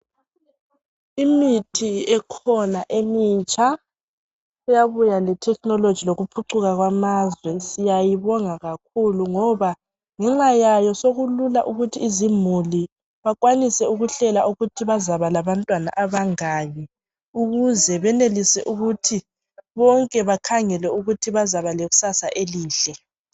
Imuthi ekhona emitsha eyabuya le technology lokuphucuka kwamazwe siyayibonga kakhulu ngoba ngexayayo sokulula ukuthi izimuli bakwanise ukuhlela ukuthi bazaba labantwana abangaki ukuze benelise ukuthi bonke bakhangele ukuthi bazaba lekusasa elihle.